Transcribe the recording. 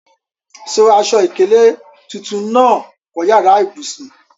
So aṣọ ìkélé tuntun náà kọ́ yàrá ìbùsùn.